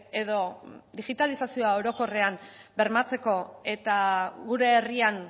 edo digitalizazioa orokorrean bermatzeko eta gure herrian